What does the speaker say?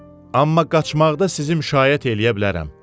Amma qaçmaqda sizi müşayiət eləyə bilərəm.